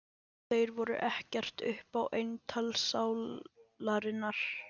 Þeir voru ekkert upp á eintal sálarinnar.